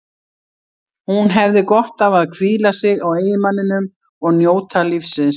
Hún hefði gott af að hvíla sig á eiginmanninum og njóta lífsins.